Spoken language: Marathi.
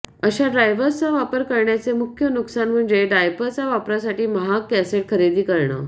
अशा ड्राइव्ह्सचा वापर करण्याचे मुख्य नुकसान म्हणजे डायपरच्या वापरासाठी महाग कॅसेट खरेदी करणे